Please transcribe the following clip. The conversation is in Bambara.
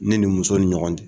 Ne ni muso ni ɲɔgɔn t